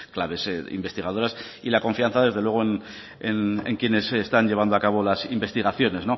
la investigadoras y la confianza desde luego en quienes están llevando a cabo las investigaciones